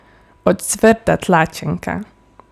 Ocvrta tlačenka!